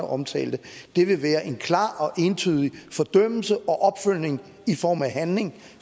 omtalte være en klar og entydig fordømmelse og opfølgning i form af handling